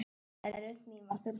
En rödd mín var þögnuð.